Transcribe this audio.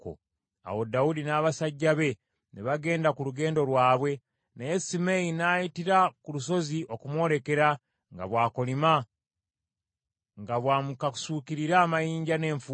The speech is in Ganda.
Awo Dawudi n’abasajja be ne bagenda ku lugendo lwabwe, naye Simeeyi n’ayitira ku lusozi okumwolekera nga bw’akolima, nga bw’amukasuukirira amayinja n’enfuufu.